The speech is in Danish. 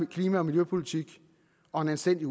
klima og miljøpolitik og en anstændig